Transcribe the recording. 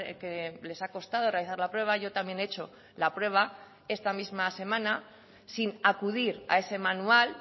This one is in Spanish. que les ha costado realizar la prueba yo también he hecho la prueba esta misma semana sin acudir a ese manual